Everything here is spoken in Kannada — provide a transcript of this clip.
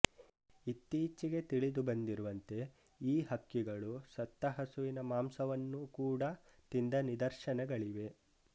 ಇತ್ತಿಚ್ಚಿಗೆ ತಿಳಿದುಬಂದಿರುವಂತೆ ಈ ಹಕ್ಕಿಗಳು ಸತ್ತ ಹಸುವಿನ ಮಾಂಸವನ್ನು ಕೂಡ ತಿಂದ ನಿದರ್ಶನಗಳಿವೆ